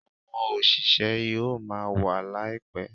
Àwọn òṣìṣẹ́ yóò máa wa laipẹ